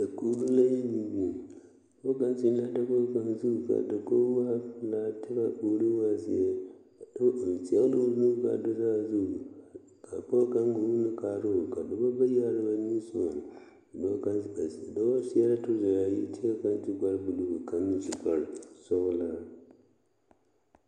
Dakoɡro la yi biŋbiŋ pɔɔ kaŋ zeŋ la a dakoɡi kaŋa zu ka a dakoɡi waa pelaa kyɛ ka a puori waa zeɛ a dɔɔ kaŋ zɛɡe la o nuuri ka a do saazu ka pɔɔ kaŋ muulo kaara o ka dɔba bayi are ba niŋe soɡaŋ dɔɔ seɛ la trɔzɛ a yi kaŋ meŋ su kparsɔɔlaa.